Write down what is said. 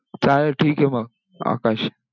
चालेल, ठीके मग. आकाश!